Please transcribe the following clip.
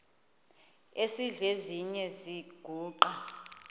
esidl eziny iziguqa